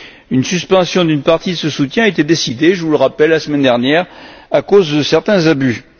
Une suspension d'une partie de ce soutien était décidée, je vous le rappelle, la semaine dernière à cause de certains abus.